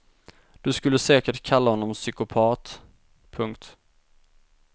Du skulle säkert kalla honom psykopat. punkt